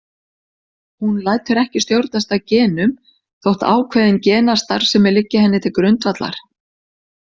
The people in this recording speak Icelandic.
Hún lætur ekki stjórnast af genum þótt ákveðin genastarfsemi liggi henni til grundvallar.